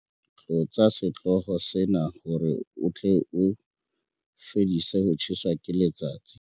tlotsa setlolo sena hore o tle o fedise ho tjheswa ke letsatsi